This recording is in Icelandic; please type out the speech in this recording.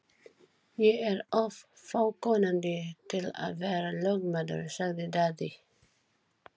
Ég er of fákunnandi til að vera lögmaður, sagði Daði.